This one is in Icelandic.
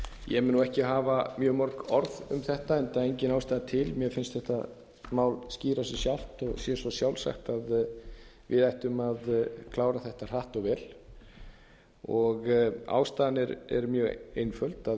ég mun nú ekki hafa mjög mörg orð um þetta enda engin ástæða til mér finnst þetta mál skýra sig sjálft og sé svo sjálfsagt að við ættum að klára þetta hratt og vel ástæðan er mjög einföld